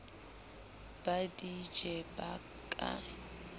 ba di je ba ke